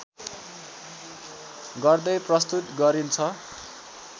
गर्दै प्रस्तुत गरिन्छ